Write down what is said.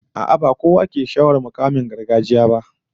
A'a, ba kowa yake sha'awar mukaman gargajiya ba